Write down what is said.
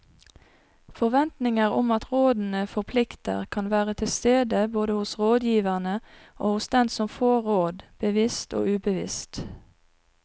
Forventninger om at rådene forplikter kan være til stede både hos rådgiverne og hos den som får råd, bevisst og ubevisst.